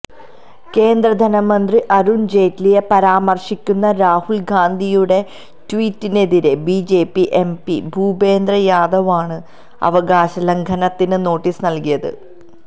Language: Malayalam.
കേന്ദ്രധനമന്ത്രി അരുൺ ജയ്റ്റ്ലിയെ പരാമർശിക്കുന്ന രാഹുൽ ഗാന്ധിയുടെ ട്വീറ്റിനെതിരെ ബിജെപി എംപി ഭൂപേന്ദ്ര യാദവാണ് അവകാശലംഘനത്തിന് നോട്ടീസ് നൽകിയത്